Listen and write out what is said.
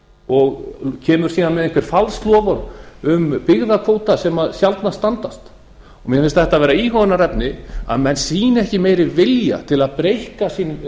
og kemur síðan með einhver falsloforð um byggðakvóta sem sjaldnast standa mér finnst þetta vera íhugunarefni að menn sýni ekki meiri vilja til að breikka sinn